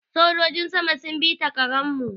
Sojojin sama sun bi ta Karan mu